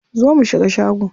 Zo mu shiga shago.